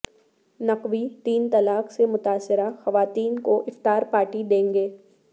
نقوی تین طلاق سے متاثرہ خواتین کو افطار پارٹی دیں گے